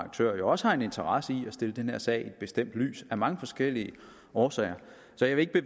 aktører jo også har en interesse i at stille den her sag i et bestemt lys af mange forskellige årsager så jeg vil